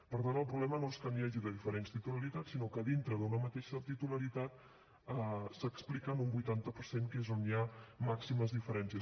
per tant el problema no és que n’hi hagi de diferents titularitats sinó que dintre d’una mateixa titularitat s’explica en un vuitanta per cent que és on hi ha màximes diferències